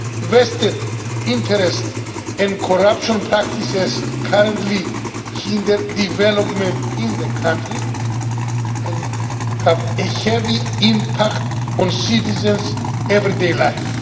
Vested interests and corruption practices currently hinder development in the country and have a heavy impact on citizens' everyday lives.